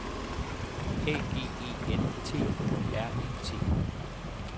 A G E N T U R E T